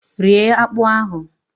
Rie akpụ ahụ!